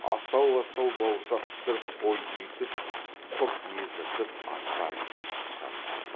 астау астау бауырсақ пісіріп қой үйтіп құрт ездіріп астарын да ықшамдады